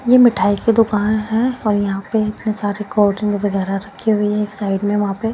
ये मिठाई की दुकान है और यहाँ पे इतने सारे कोल्ड ड्रिंक वगैरह रखी हुई हैं एक साइड में वहाँ पे --